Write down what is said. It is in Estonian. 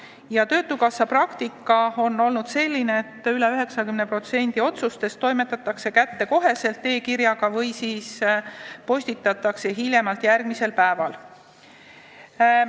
Ja töötukassa praktika on olnud selline, et üle 90% otsustest toimetatakse kätte kohe e-kirjaga või siis postitatakse hiljemalt järgmisel päeval.